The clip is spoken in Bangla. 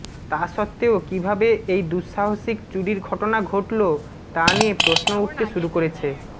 তা সত্ত্বেও কিভাবে এই দুঃসাহসিক চুরির ঘটনা ঘটল তা নিয়ে প্রশ্ন উঠেতে শুরু করেছ